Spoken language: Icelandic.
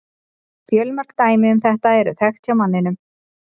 Fjölmörg dæmi um þetta eru þekkt hjá manninum.